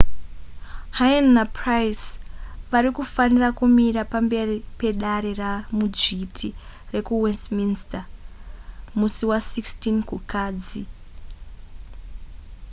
huhne napryce vari kufanira kumira pamberi pedare ramudzviti rekuwestminster musi wa16 kukadzi